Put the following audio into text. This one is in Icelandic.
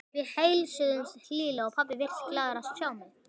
Við heilsuðumst hlýlega og pabbi virtist glaður að sjá mig.